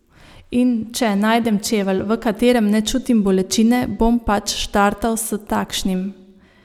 In če najdem čevelj, v katerem ne čutim bolečine, bom pač štartal s takšnim.